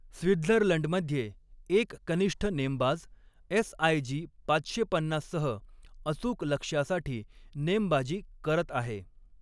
स्वित्झर्लंडमध्ये एक कनिष्ठ नेमबाज एस.आय.जी. पाचशे पन्नाससह अचूक लक्ष्यासाठी नेमबाजी करत आहे.